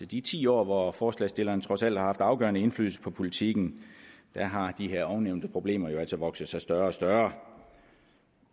de ti år hvor forslagsstillerne trods alt har haft afgørende indflydelse på politikken har de her ovennævnte problemer jo altså vokset sig større og større